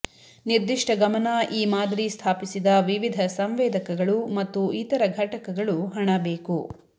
ನಿರ್ದಿಷ್ಟ ಗಮನ ಈ ಮಾದರಿ ಸ್ಥಾಪಿಸಿದ ವಿವಿಧ ಸಂವೇದಕಗಳು ಮತ್ತು ಇತರ ಘಟಕಗಳು ಹಣ ಬೇಕು